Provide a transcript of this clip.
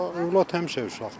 Övlad həmişə uşaqdır.